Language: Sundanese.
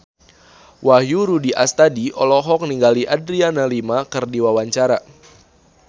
Wahyu Rudi Astadi olohok ningali Adriana Lima keur diwawancara